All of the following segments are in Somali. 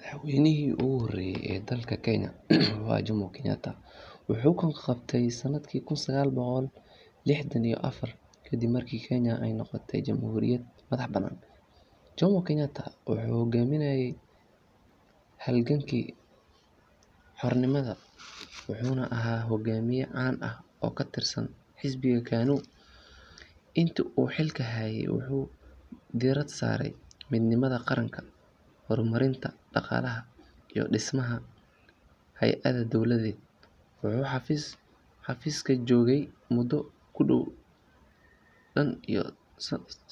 Madaxweynihii ugu horreeyay ee dalka Kenya wuxuu ahaa Jomo Kenyatta. Wuxuu xukunka qabtay sanadkii kun sagaal boqol lixdan iyo afar ka dib markii Kenya ay noqotay jamhuuriyad madax bannaan. Jomo Kenyatta wuxuu hoggaaminayay halgankii xornimada wuxuuna ahaa hogaamiye caan ah oo ka tirsan xisbiga KANU. Intii uu xilka hayay wuxuu diiradda saaray midnimada qaran, horumarinta dhaqaalaha iyo dhismaha hay’adaha dowladeed. Wuxuu xafiiska joogay muddo ku dhow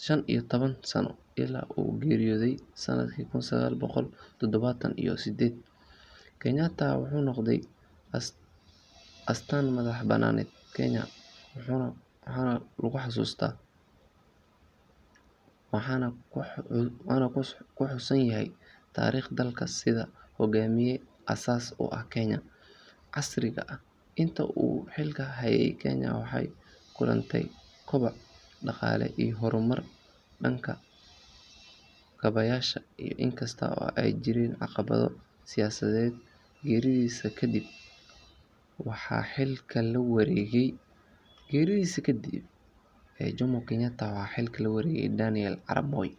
shan iyo toban sano ilaa uu geeriyooday sanadkii kun sagaal boqol toddobaatan iyo sideed. Kenyatta wuxuu noqday astaanta madax-bannaanida Kenya wuxuuna ku xusuusan yahay taariikhda dalka sida hogaamiye aasaas u ahaa Kenya casriga ah. Intii uu xilka hayay Kenya waxay la kulantay koboc dhaqaale iyo horumar dhanka kaabayaasha ah inkasta oo ay jireen caqabado siyaasadeed. Geeridiisa ka dib waxaa xilka la wareegay Daniel Arap Moi.